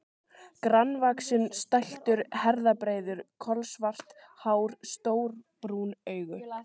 Grannvaxinn, stæltur, herðabreiður, kolsvart hár, stór brún augu.